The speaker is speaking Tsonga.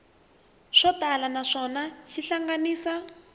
swo tala naswona xi hlanganisa